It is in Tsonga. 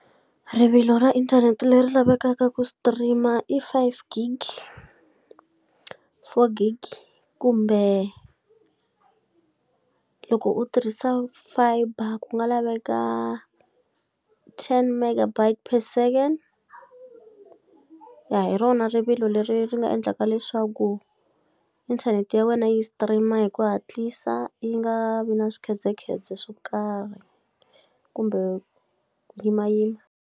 Rivilo ra inthanete leri lavekaka ku stream-a i five gig, four gig kumbe loko u tirhisa fibre ku nga laveka ten mega byte per second. Ya hi rona rivilo leri ri nga endlaka leswaku inthanete ya wena yi stream-a hi ku hatlisa yi nga vi na swikhedzekhedze swo karhi kumbe ku yimayima.